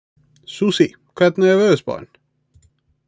Susie, hvernig er veðurspáin?